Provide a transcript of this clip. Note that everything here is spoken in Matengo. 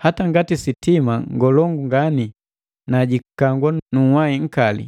Hata ngati sitima ngolongu ngani na jikangwa nu nhai nkali